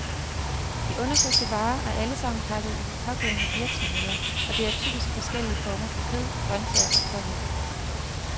De undersøgte varer er allesammen pakket i de pågældende virksomheder, og det er typisk forskellige former for kød, grøntsager og pålæg.